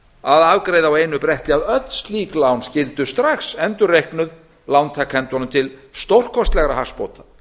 að afgreiða á einu bretti að öll slík lán skyldu strax endurreiknuð lántakendunum til stórkostlegra hagsbóta